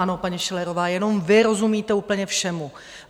Ano, paní Schillerová, jenom vy rozumíte úplně všemu.